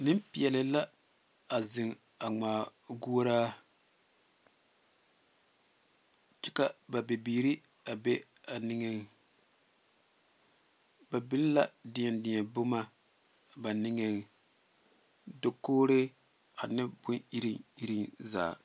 Nempeɛle la a zeŋ ŋmaa guolaa kyɛ ka ba bibiiri a be a niŋeŋ ba biŋ la deɛdeɛboma ba niŋeŋ dakogree ane boniruŋ iruŋ zaa.